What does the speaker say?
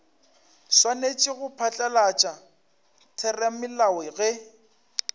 swanetše go phatlalatša theramelao ge